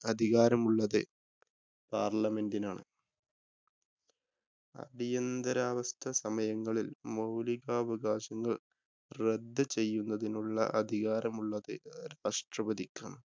അധികാരമുള്ളത് പാര്‍ലമെന്റിനാണ്. അടിയന്തിരാവസ്ഥ സമയങ്ങളില്‍ മൌലിക അവകാശങ്ങള്‍ റദ്ദ് ചെയ്യുന്നതിനുള്ള അധികാരമുള്ളത് രാഷ്ട്രപതിക്കാണ്.